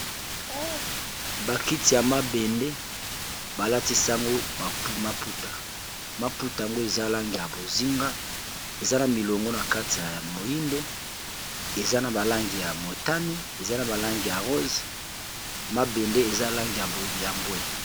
bakiti ya mabende balatisango maputa maputa yango eza langi ya bozinga eza na milongo na kati ya ya moindo eza na balangi ya motani eza na balangi ya rosse mabende eza langi ya yambwe